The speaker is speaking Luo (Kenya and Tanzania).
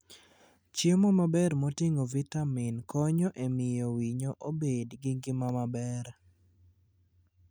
Chiemo maber moting'o vitamin konyo e miyo winyo obed gi ngima maber.